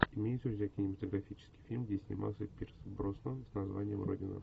имеется ли у тебя кинематографический фильм где снимался пирс броснан с названием родина